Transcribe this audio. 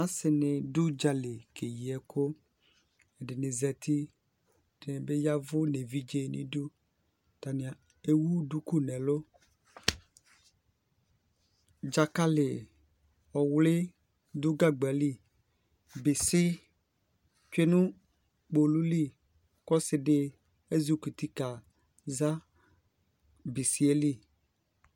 Asι nι dʋ udzali kee yi ɛkʋ, ɛdιnι zati , ɛdιnι bι yavʋ, nʋ evidze nʋ iduAtanι ewu duku nʋ ɛlʋ Dzakalι ɔɔwlι dʋ gagba li, bιsι tsyue nʋ kpolu li, kʋ ɔsι dι ezi kɔ uti kaa za bιsι yɛ li